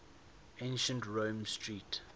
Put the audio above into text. ancient roman street